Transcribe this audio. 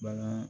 Bana